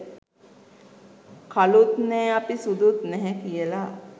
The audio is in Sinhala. කළුත් නෑ අපි සුදුත් නැහැ කියලා.